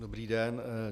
Dobrý den.